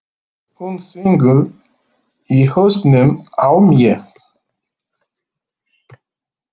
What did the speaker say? Hún syngur í hausnum á mér.